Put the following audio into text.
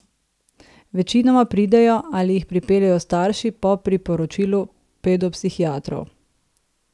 Večinoma pridejo ali jih pripeljejo starši po priporočilu pedopsihiatrov.